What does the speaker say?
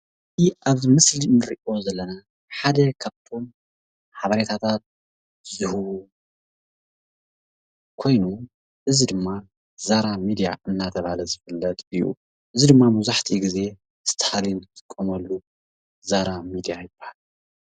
ኣብዚ ምስሊ እንሪኦ ዘለና ሓደ ካብቶም ሓበሬታታት ዝህቡ ኮይኑ እዚ ድማ ዛራ ሚድያ እናተብሃለ ዝፍለጥ እዩ። እዚ ድማ መብዛሕቲኡ ግዜ ዝተሓረዩን ዝጥቀምሉ ዛራ ሚድያ ይብሃል።